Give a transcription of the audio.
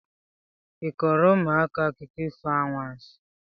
ị kọọrọ ụmụaka akụkọ ifo anwansị?